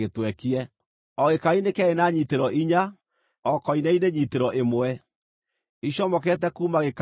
O gĩkaari nĩ kĩarĩ na nyiitĩro inya, o koine-inĩ nyiitĩro ĩmwe, icomokete kuuma gĩkaari-inĩ. nĩgũkorwo